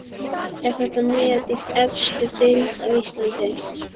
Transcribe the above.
Er þetta met í efstu deild á Íslandi?